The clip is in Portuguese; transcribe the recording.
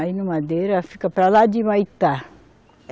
Aí no Madeira fica para lá de Humaitá.